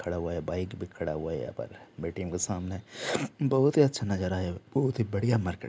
खड़ा हुआ है बाइक भी खड़ा हुआ है यहाँ पर ए.टी. एम के सामने बहुत ही अच्छा नजारा है बहुत ही अच्छा मार्किट--